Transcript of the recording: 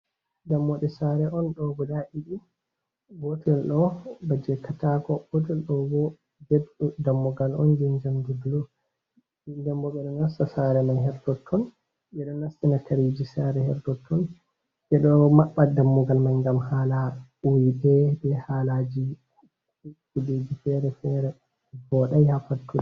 Dammuɗe sare on doh guda didi, gotel ɗo baje katako gotel dôh bo dammugal on je jamɗi bulù. Ɗen bo beɗo nasta sare man hértotton, bédo nastina kare sare hértotton, bédo mabba dammugal man gam hala wuiɓe béh halaji kuje féré féré. Vodai ha fattu.